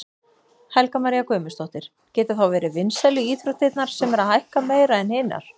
Helga María Guðmundsdóttir: Geta þá verið vinsælu íþróttirnar sem eru að hækka meira en hinar?